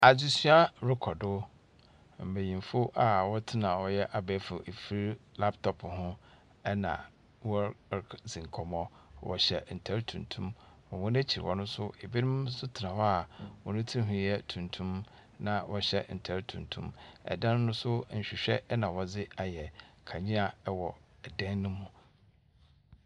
Adzesua rokɔ do. Mbenyimfo a wɔtsena ɔyɛ abɛɛfo afir, laptop ho na wɔr r kɔdzi nkɔmbɔ. Wɔhyɛ ntar tuntum. Hɔn ekyir hɔ no nso, ebinom nso tsena hɔ a hɔn tsir nhwu yɛ tuntum, na wɔhyɛ ntar tuntum. Dan no nso, nhwehwɛ na wɔdze ayɛ. Kanea wɔ dan no mu.